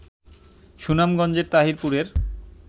সুনামগঞ্জের তাহিরপুরের